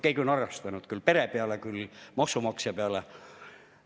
Keegi on arvestanud ka pere peale ja maksumaksja peale.